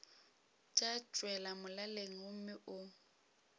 tša tšwela molaleng gomme o